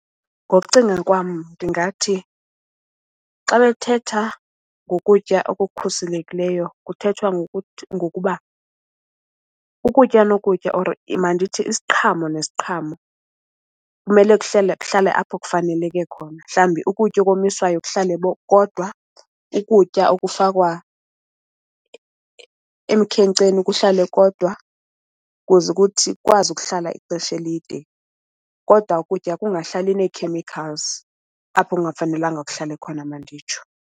Ngokucinga kwam ndingathi xa bethetha ngokutya okukhuselekileyo kuthethwa ngokuba ukutya nokutya or mandithi isiqhamo nesiqhamo kumele kuhlale apho kufaneleke khona. Mhlawumbi ukutya okomiswayo kuhlale kodwa. Ukutya okufakwa emkhenkceni kuhlale kodwa kuze ukuthi kwazi ukuhlala ixesha elide. Kodwa ukutya kungahlali nee-chemicals apho kungafanelanga kuhlale khona manditsho.